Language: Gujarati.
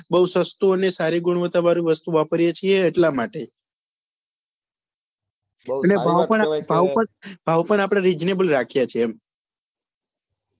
બઉ સસ્તું અને સારી ગુવાવ્ત્તા વાળું વસ્તુ વાપરીએ છીએ એટલા માટે અને ભાવ પણ આપડે reasonable રાખીએ છીએ એમ